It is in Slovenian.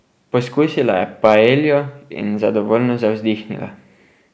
Pokusila je paeljo in zadovoljno zavzdihnila.